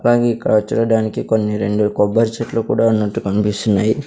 అలాగే ఇక్కడ చూడడానికి కొన్ని రెండు కొబ్బరి చెట్లు కూడా ఉన్నట్టు కనిపిస్తున్నాయి.